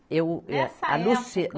Eu, eu. Nessa época?